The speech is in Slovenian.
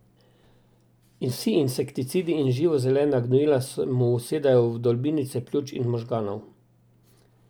In vsi insekticidi in živo zelena gnojila se mu usedajo v vdolbinice pljuč in možganov.